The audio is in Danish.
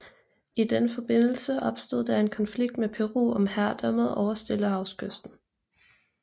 I den forbindelse opstod der en konflikt med Peru om herredømmet over Stillehavskysten